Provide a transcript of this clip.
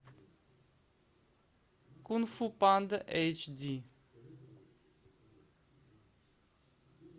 кунг фу панда эйч ди